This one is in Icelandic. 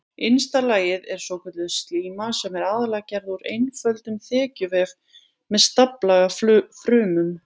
Innsta lagið er svokölluð slíma sem er aðallega gerð úr einföldum þekjuvef með staflaga frumum.